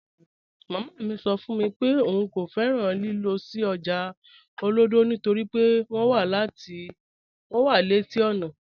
Màmá mi sọ́ fún mi pé ọ̀un kò fẹ́ràn lílọ̀ sí ọ́jà Olodo nítorí pé wọn wà leti ọ́nà